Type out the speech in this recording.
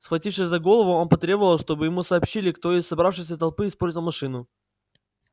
схватившись за голову он потребовал чтобы ему сообщили кто из собравшейся толпы испортил машину